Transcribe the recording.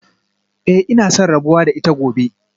Eh ina son rabuwa da ita gobe